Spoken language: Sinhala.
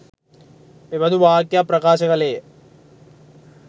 මෙබදු වාක්‍යයක් ප්‍රකාශ කළේය.